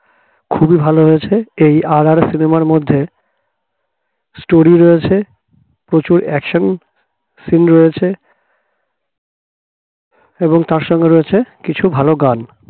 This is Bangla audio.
খুবই ভালো হয়েছে এই RRR cinema র মধ্যে story রয়েছে প্রচুর action scene রয়েছে এবং তার সঙ্গে রয়েছে কিছু ভালো গান